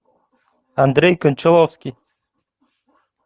андрей кончаловский